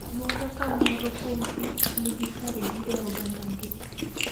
Moro ka moro kuom kich nigi kargi e ogandagi.